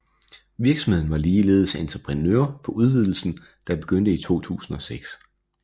Virksomheden var ligeledes entreprenør på udvidelsen der begyndte i 2006